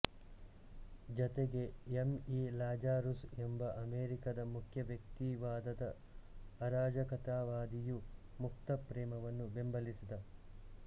ಜತೆಗೆ M E Lazarus ಎಂಬ ಅಮೆರಿಕಾದ ಮುಖ್ಯ ವ್ಯಕ್ತಿವಾದದ ಅರಾಜಕತಾವಾದಿಯು ಮುಕ್ತ ಪ್ರೇಮವನ್ನು ಬೆಂಬಲಿಸಿದ